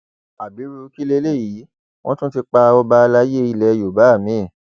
ábírú kí leléyìí wọn tún ti pa ọba àlàyé ilẹ yorùbá mi